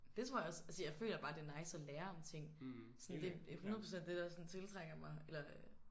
Det tror jeg også altså jeg føler bare det nice at lære om ting sådan det 100 % det der sådan tiltrækker mig eller